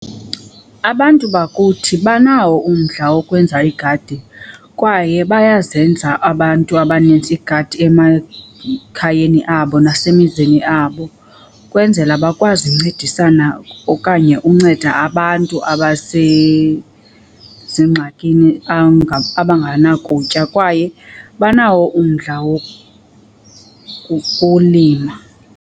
Abantu bakuthi banawo umdla wokwenza iigadi kwaye bayazenza abantu abanintsi iigadi emakhayeni abo zasemizini abo, kwenzela bakwazi uncedisana okanye unceda abantu abasezingxakini abanganakutya kwaye banawo umdla wokulima.